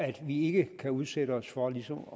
at vi ikke kan udsætte os for ligesom